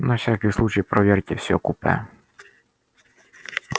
на всякий случай проверьте всё купе